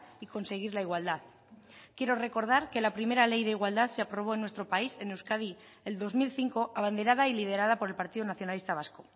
y conseguir la igualdad quiero recordar que la primera ley de igualdad se aprobó en nuestro país en euskadi el dos mil cinco abanderada y liderada por el partido nacionalista vasco